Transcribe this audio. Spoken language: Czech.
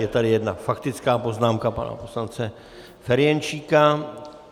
Je tady jedna faktická poznámka pana poslance Ferjenčíka.